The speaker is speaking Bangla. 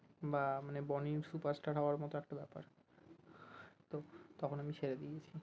বা মানে বনি superstar হবার মতো একটা ব্যাপার, তো তখন আমি ছেড়ে দিয়েছি